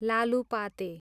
लालुपाते